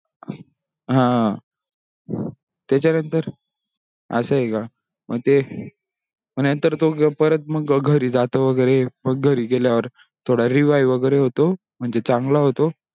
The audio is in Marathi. हा त्याच्या नंतर असा हे का मग ते नंतर तो परत मग घरी जातो वगेरे घरी गेल्यानंतर revive वगेरे होतो म्हणजे चांगला होतो